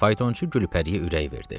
Faytonçu Gülpəriyə ürək verdi.